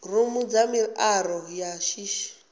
rumu dza miaro ya shishi